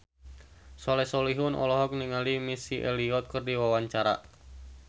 Soleh Solihun olohok ningali Missy Elliott keur diwawancara